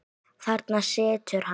Þarna situr hann.